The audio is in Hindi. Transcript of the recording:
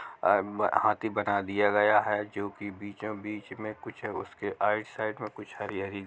अ हाथी बना दिया गया हैं जो की बीचो-बिच में कुछ उसके आईट साइड में कुछ हरी-हरी--